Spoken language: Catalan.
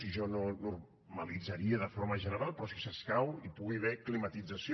i jo no ho normalitzaria de forma general però si s’escau hi pugui haver climatització